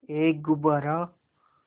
एक गुब्बारा